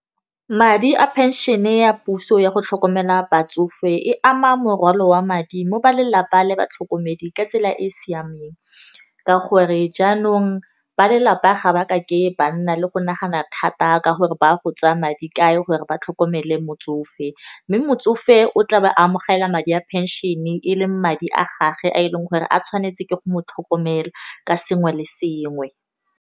Madi a phenšene ya puso ya go tlhokomela batsofe e ama morwalo wa madi mo ba lelapa le batlhokomedi ka tsela e e siameng ka gore, jaanong ba lelapa ga ba kake ba nna le go nagana thata ka gore ba go tsaya madi kae gore ba tlhokomele motsofe, mme motsofe o tla ba a amogela madi a phenšene leng madi a gage a e leng gore a tshwanetse ke go mo tlhokomela ka sengwe le sengwe.